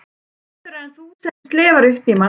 Betur en þú sem slefar upp í mann.